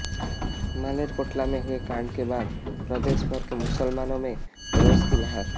मालेरकोटला में हुए कांड के बाद प्रदेश भर के मुसलमानों में रोष की लहर